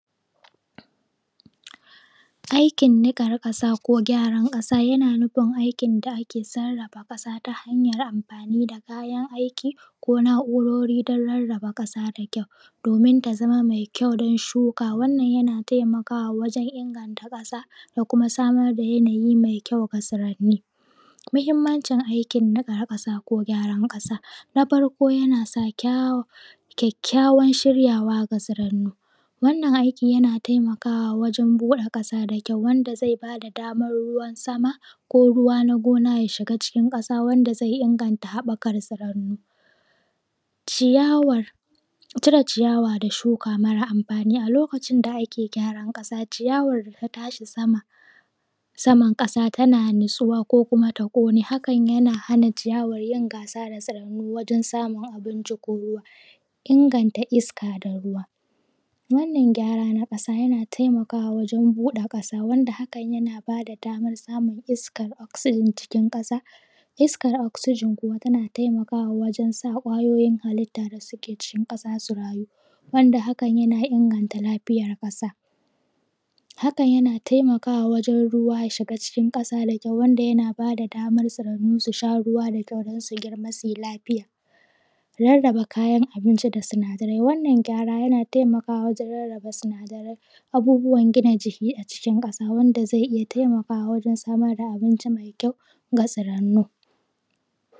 Aikin nikan ƙasa ko gyaran ƙasa, yana nufin aikin da ake sarafa ƙasa ta hanyar amfani da kayan aiki ko naurori don rarraba ƙasa da kyau domin ta zama mai kyau don shuka, wannan yana taimakawa wajen inganta ƙasa da kuma samar da yanayi mai kyau ga tsuraini, muhimanci aikin nikar ƙasa ko gyaran ƙasa, na farko yana sa kyayyawan shiryawa ga tsuraini, wannan aikin yana taimakawa wajen ɓude ƙasa da kyau wanda zai bada damar ruwan sama ko ruwa na gona ya shiga cikin ƙasa wanda zai inganta haɓaka tsurannu. Ciyawar cire ciyawar da shuka mara amfani a lokacin da ake gyaran ƙasa, ciyawar da ta tashi sama saman ƙasa tana natsuwa ko kuma ta ƙone, hakan yana hana ciyawan yin gasa da tsiranni wajen samun abinci ko ruwa. Inganta iska da ruwa, wannan gyara na ƙasa yana taimakawa wajen buɗe ƙasa wanda hakan yana bada damar samun iskar oxygen cikin ƙasa, iskar oxygen kuma tana taimakawa wajen sa ƙwayoyin hallita da suke cikin ƙasa su rayu wanda hakan yana inganta lafiyar ƙasa, hakan yana taimakawa wajen ruwa ya shiga cikin ƙasa da kyau wanda yana ba da damar tsirannu su sha ruwa da kyau don su girma su yi lafiya. Rarraba kayan abinci da sinadarai, wannan gyara yana taimakawa wajen rarraba sinadarai abubuwan gina jiki a cikin ƙasa wanda zai iya taimakawa wajen samar da abinci mai kyau ga tsirannu.